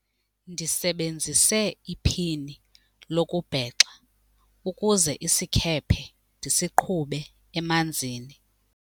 Ndisebenzise iphini lokubhexa ukuze isikhephe ndisiqhube emanzini.